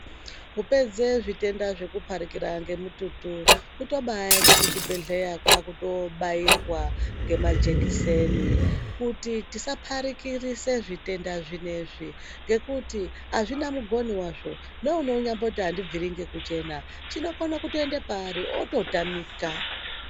Kupedza zvitenda zveku parikira nge mututu kuto bai ende ku chibhedhleya kwakuto bairwa nge majekiseni kuti tisa parikirise zvitenda zvinezvi ngekuti azvina mugoni wazvo neuno nyamboti andibviri kuchena chino kone kuto enda pa ari oto tamika.